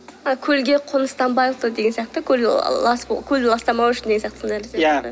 көлге қоныстанбай сияқты көл көлді ластамау үшін деген сияқты сондай иә